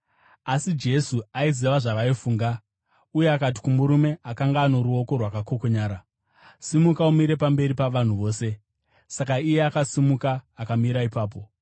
Asi Jesu aiziva zvavaifunga uye akati kumurume akanga ano ruoko rwakakokonyara, “Simuka umire pamberi pavanhu vose.” Saka iye akasimuka akamira ipapo.